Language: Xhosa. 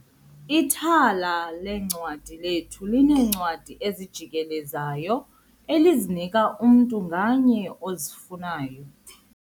Ithala leencwadi lethu lineencwadi ezijikelezayo elizinika umntu ngamnye ozifunayo.